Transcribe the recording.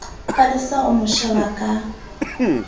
palesa o mo sheba ka